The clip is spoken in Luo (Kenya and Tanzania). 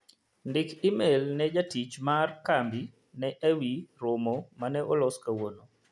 Ndiki imel ne jatich mar kambi na ewi romo mane olos kawuono.